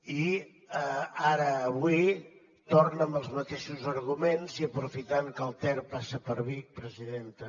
i ara avui torna amb els mateixos arguments i aprofitant que el ter passa per vic presidenta